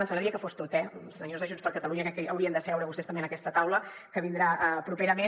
ens agradaria que fos tot eh senyors de junts per catalunya crec que haurien de seure vostès també en aquesta taula que vindrà properament